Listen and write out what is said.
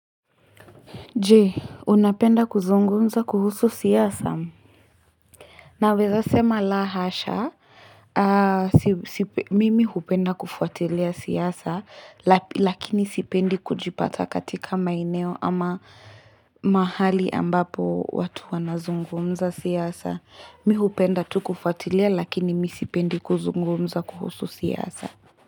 Je, unapenda kuzungumza kuhusu siasa? Naweza sema la hasha, mimi hupenda kufuatilia siasa, lakini sipendi kujipata katika maeneo ama mahali ambapo watu wana zungumza siasa. Mi hupenda tu kufuatilia lakini mi sipendi kuzungumza kuhusu siasa.